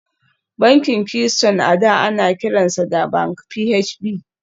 Bankin Keystone a da ana kiransa da Bank PHB